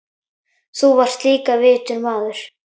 Þú varst líka vitur maður.